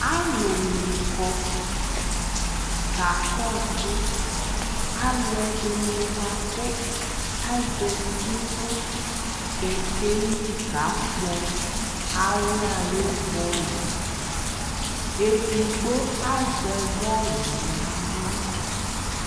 alu ni kɔ ka kɔsu aluɛ dini bua ku aʒɛti nu kɛkɛli ka kpɔ aɣla ayu bɔlu edigbo aʒɛ bɔlu na ɣla